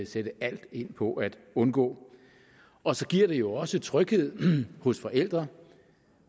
sætte alt ind på at undgå og så giver det jo også tryghed hos forældrene